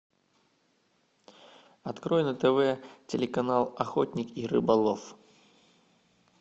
открой на тв телеканал охотник и рыболов